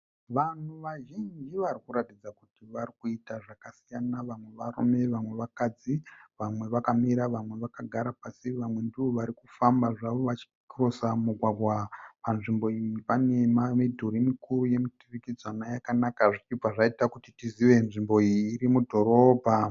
Vanhu vazhinji vari kuratidza kuti vari kuita zvakasiyana. Vamwe varume vamwe vakadzi. Vamwe vakamira vamwe vakagara pasi. Vamwe ndovari kufamba zvavovachikirosa mugwagwa. Panzvimbo iyi pane midhuri mikuru yemuturikidzanwa yakanaka zvichibva zvaita kuti tizive kuti nzvimbo iyi iri mudhorobha.